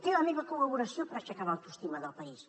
té la meva col·laboració per aixecar l’autoestima del país